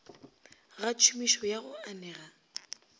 ga tšhomišo ya go anega